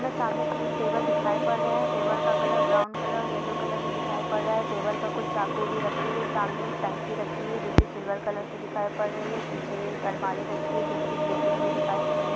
में सामने तीन टेबल दिखाई पड़ रहे है टेबल का colour brown colour yellow colour में दिखाई पड़ रहा है टेबल पर कुछ चाकु भी रखे हुए है सामने एक टंकी रखी हुई है जो की सिल्वर कलर की दिखाई पड़ रही है पीछे एक अलमारी रखी हुई है जो की ग्रे कलर में दिखाई पड़ रही है।